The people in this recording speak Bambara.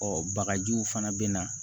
Ɔ bagajiw fana bɛ na